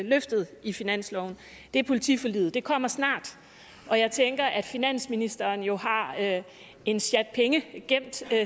løftet i finansloven er politiforliget det kommer snart og jeg tænker at finansministeren jo har en sjat penge gemt til